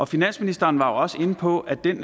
finansministeren var også inde på at den